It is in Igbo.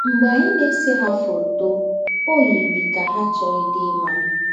M̀gbè ànyì ná-èsé ha fótó, ó yirì kà ha àchọ̀ghídì ímà.